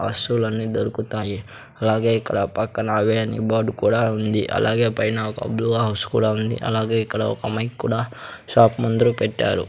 వస్తువులన్నీ దొరుకుతాయి అలాగే ఇక్కడ పక్కన అవే అని బోర్డు కూడా ఉంది అలాగే పైన ఒక బ్లూ హౌస్ కూడా ఉంది అలాగే ఇక్కడ ఒక మైక్ కూడా షాప్ ముందురు పెట్టారు.